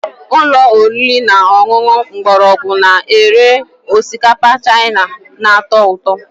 Ụlọ oriri na ọṅụṅụ mgbọrọgwụ na-ere osikapa Chaina na-atọ ụtọ